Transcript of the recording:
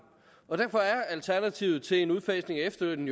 og derfor er alternativet til en udfasning af efterlønnen